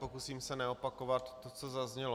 Pokusím se neopakovat to, co zaznělo.